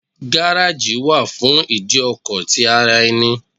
Garaji wà fún ìdí ọkọ̀ ti ara ẹni.